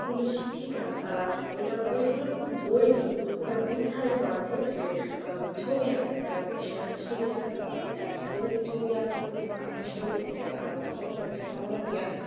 স্কুলের শিক্ষিকারা তারা ওটা ওইগুলোর কোন বই নাই তো ওই গুলা বই ছাড়াই পড়াচ্ছে যে ছবি আঁকাটা বিষয় আছে ছবি আঁকাটা পড়াচ্ছে ওদেরকে ছবি আঁকার প্রতি আকৃষ্ট করছে আর পাশাপাশি একটা সাধারণ জ্ঞান